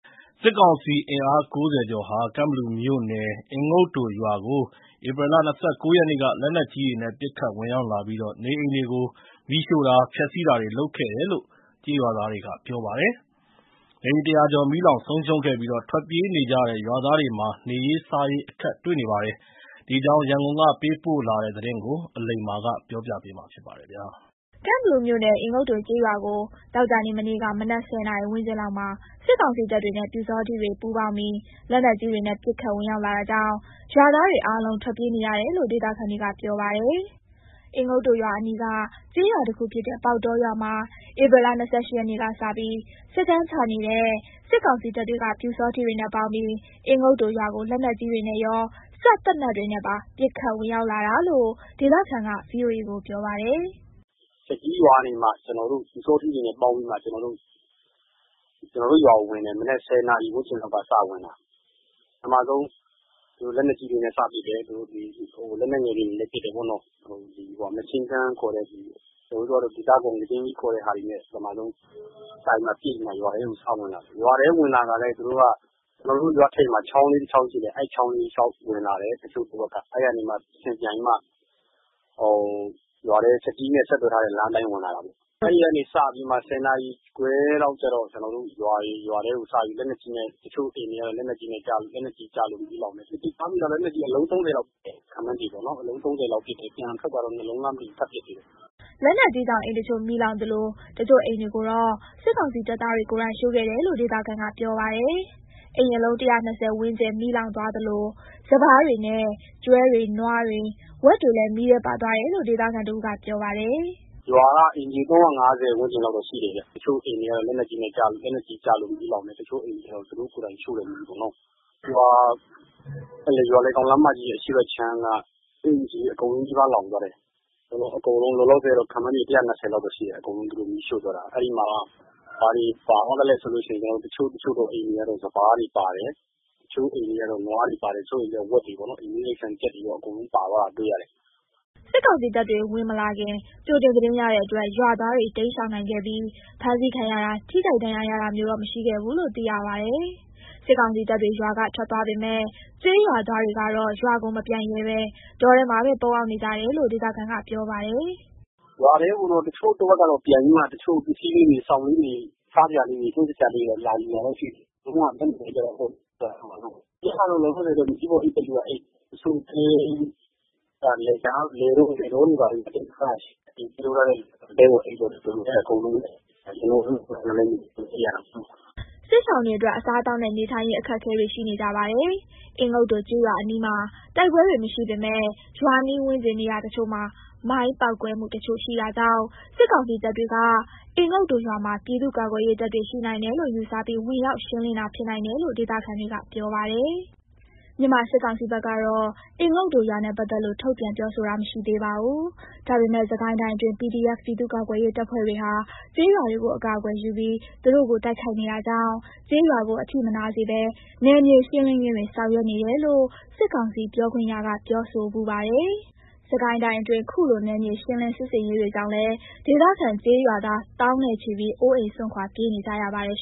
စစ်ကောင်စီအင်အား ၉၀ ကျော်ဟာ ကန့်ဘလူမြို့နယ် အင်ငုတ်တိုရွာကို ဧပြီလ ၂၉ ရက်နေ့က လက်နက်ကြီးတွေနဲ့ ပစ်ခတ်ဝင်ရောက်လာပြီး နေအိမ်တွေကို မီးရှို့တာ၊ ဖျက်ဆီးတာတွေ လုပ်ခဲ့တယ်လို့ ကျေးရွာသားတွေက ပြောပါတယ်။ နေအိမ် ၁၀၀ ကျော် မီးလောင်ဆုံးရှုံးခဲ့ပြီး ထွက်ပြေးနေကြရတဲ့ ရွာသားတွေမှာ နေရေးစားရေး အခက်တွေ့နေပါတယ်။ ဒီအကြောင်း ရန်ကုန်က သတင်းပေးပို့တာကို အလိမ္မာ ပြောပြမှာပါ။ ကန့်ဘလူမြို့နယ် အင်ငုတ်တိုကျေးရွာကို သောကြာနေ့ မနေ့က မနက် ၁၀ နာရီ ဝန်းကျင်လောက်မှာ စစ်ကောင်စီတပ်တွေနဲ့ ပျူစောထီးတွေ ပူးပေါင်းပြီး လက်နက်ကြီးတွေနဲ့ ပစ်ခတ်ဝင်ရောက်လာတာကြောင့် ရွာသားတွေအားလုံး ထွက်ပြေးနေရတယ်လို့ ဒေသခံတွေက ပြောပါတယ်။ အင်ငုတ်တိုရွာအနီးက ကျေးရွာတခုဖြစ်တဲ့ ပေါက်တောရွာမှာ ဧပြီ ၂၈ ရက်နေ့ကစပြီး စခန်းချနေတဲ့ စစ်ကောင်စီတပ်တွေက ပျူစောထီးတွေနဲ့ ပေါင်းပြီး အင်ငုတ်တိုရွာကို လက်နက်ကြီးတွေနဲ့ရော စက်သေနတ်တွေနဲ့ပါ ပစ်ခတ်ဝင်ရောက်လာတာလို့ ဒေသခံက ဗွီအိုအေကို ပြောပါတယ်။ “သူတို့က ချက်ကြီးရွာက ပျူစောထီးတွေနဲ့ ပေါင်းပြီးတော့ ကျနော်တို့ရွာကို ဝင်တယ်။ မနက် ၁၀ နာရီလောက်က စဝင်တာ။ ပထမဆုံး သူတို့ လက်နက်ကြီးတွေနဲ့ စပစ်တယ်။ နောက် လက်နက်ငယ်တွေနဲ့လည်း ပစ်တယ်ပေါ့နော်။ Machine Gun ခေါ်တဲ့ဟာပေါ့၊ အဲ့ဒါတွေနဲ့ ပစ်တယ်။ အဲ့လို စပစ်ပြီးတော့မှ သူတို့က ရွာထဲဝင်လာတယ်။ ရွာထဲဝင်လာတော့ သူတို့တွေက ကျနော်တို့ရွာထိပ်မှာ ချောင်းလေးတချောင်း ရှိတယ်။ အဲ့ဒီ ချောင်းလေးအတိုင်း ဝင်လာတယ် တချို့တဝက်က။ တချို့က အဲ့ကနေမှ ပြန်ပြီးမှ ရွာထဲကို ချက်ကြီးနဲ့ ဆက်သွယ်ထားတဲ့ လမ်းအတိုင်း ဝင်လာတာပေါ့။ အဲ့ဒီကနေစပြီးမှ ၁၀ နာရီခွဲလောက်ကျတော့ ရွာထဲကို လက်နက်ကြီးနဲ့ပစ်တယ်။ တချို့အိမ်တွေကတော့ လက်နက်ကြီးကျလို့ မီးလောင်တယ်။ ကျနော်ကြားမိတာတော့ လက်နက်ကြီးက အလုံး ၃၀ လောက် ပစ်တယ်၊ ခန့်မှန်းပေါ့နော်။ ပြန်ထွက်သွားတော့ ၂ လုံးလားမသိဘူး ထပ်ပစ်သေးတယ်။” လက်နက်ကြီးကြောင့် အိမ်တချို့ မီးလောင်သလို တချို့အိမ်တွေကိုတော့ စစ်ကောင်စီတပ်သားတွေ ကိုယ်တိုင် ရှို့ခဲ့တယ်လို့ ဒေသခံက ပြောပါတယ်။ အိမ်အလုံး ၁၂၀ ဝန်းကျင် မီးလောင်သွားသလို စပါးတွေနဲ့ ကျွဲတွေနွားတွေဝက်တွေလည်း မီးထဲပါသွားတယ်လို့ ဒေသခံတဦးက ပြောပါတယ်။ “ရွာက အိမ်ခြေ ၃၅၀ လောက်တော့ ရှိတယ်ဗျ။ တချို့အိမ်တွေကတော့ လက်နက်ကြီးကျလို့ မီးလောင်တယ်။ တချို့အိမ်တွေကျတော့ သူတို့ကိုယ်တိုင် ရှို့တာပေါ့။ ရွာလယ်ကောင်လမ်းမကြီးရဲ့ အရှေ့ဘက်အခြမ်းက အိမ်ခြေအကုန်လုံးနီးပါး လောင်သွားတယ်။ လောလောဆယ် အကုန်လုံး လောင်သွားတာက ၁၂၀ လောက်တော့ ရှိတယ်။ သူတို့ရှို့သွားတာ။ အဲ့မှာလောင်သွားတာက ဘာတွေပါသွားသလဲဆိုတော့ တချို့တချို့သော အိမ်တွေက စပါးတွေပါတယ်။ တချို့အိမ်တွေက နွားတွေ၊ တချို့အိမ်တွေက ဝက်တွေပေါ့နော်။ အိမ်မွေးတိရစ္ဆာန်တွေ ကြက်တွေရော အကုန်ပါသွားတာ တွေ့တယ်။” စစ်ကောင်စီတပ်တွေ ဝင်မလာခင် ကြိုတင်သတင်းရတဲ့အတွက် ရွာသားတွေ ရှောင်တိမ်းနိုင်ခဲ့ပြီး ဖမ်းဆီးခံရတာ ထိခိုက်ဒဏ်ရာရတာမျိုး မရှိခဲ့ဘူးလို့ သိရပါတယ်။ စစ်ကောင်စီတပ်တွေ ရွာကထွက်သွားပေမဲ့ ကျေးရွာသားတွေကတော့ ရွာကိုမပြန်ရဲဘဲ တောထဲမှာပဲ ပုန်းအောင်နေကြရတယ်လို့ ဒေသခံက ပြောပါတယ်။ “ရွာထဲကိုတော့ တချို့တဝက်ကတော့ ပြန်ပြီးတော့ ပစ္စည်းလေးတွေ၊ စောင်လေးတွေ၊ စားစရာလေးတွေ လာယူတာတော့ ရှိတယ်။ ပြန်လာလို့တော့ မရသေးဘူးပေါ့။ ခုလောလောဆယ်ကတော့ မြေကြီးပေါ်အိပ်တဲ့သူကအိပ်၊ တချို့တွေကလည်း လယ်တောတွေ ဘာတွေမှာပေါ့။ အားလုံးကတော့ ဒီလိုပဲ အဆင်ပြေသလို လုပ်ပြီးပဲ နေကြရတာပေါ့။” စစ်ရှောင်တွေအတွက် အစားအသောက်နဲ့ နေထိုင်ရေး အခက်အခဲတွေ ရှိနေကြပါတယ်။ အင်ငုတ်တိုရွာအနီးမှာ တိုက်ပွဲတွေ မရှိပေမဲ့ ရွာနီးဝန်းကျင် နေရာတချို့မှာ မိုင်းပေါက်ကွဲမှုတချို့ ရှိတာကြောင့် စစ်ကောင်စီတပ်တွေက အင်ငုတ်တိုရွာမှာ ပြည်သူ့ကာကွယ်ရေးတပ်တွေ ရှိနိုင်တယ်လို့ ယူဆပြီး ဝင်ရောက်ရှင်းလင်းတာ ဖြစ်နိုင်တယ်လို့ ဒေသခံတွေက ပြောပါတယ်။ မြန်မာစစ်ကောင်စီဘက်ကတော့ အင်ငုတ်တိုရွာနဲ့ ပတ်သက်လို့ ထုတ်ပြန်ပြောဆိုတာ မရှိသေးပါဘူး။ ဒါပေမဲ့ စစ်ကိုင်းတိုင်းအတွင်း PDF ပြည်သူ့ကာကွယ်ရေးတပ်ဖွဲ့တွေဟာ ကျေးရွာတွေကို အကာအကွယ်ယူပြီး သူတို့ကို တိုက်ခိုက်နေတာကြောင့် ကျေးရွာကို အထိမနာစေဘဲ နယ်မြေရှင်းလင်းရေးတွေ ဆောင်ရွက်နေတယ်လို့ စစ်ကောင်စီပြောခွင့်ရက ပြောဆိုဖူးပါတယ်။ စစ်ကိုင်းတိုင်းအတွင်း ခုလို နယ်မြေရှင်းလင်း စစ်ဆင်ရေးတွေကြောင့်လည်း ဒေသခံကျေးရွာသား သောင်းနဲ့ချီပြီး အိုးအိမ်စွန့်ခွာ ပြေးနေကြရပါတယ်